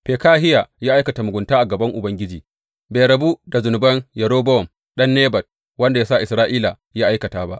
Fekahiya ya aikata mugunta a gaban Ubangiji, bai rabu da zunuban Yerobowam ɗan Nebat wanda ya sa Isra’ila ya aikata ba.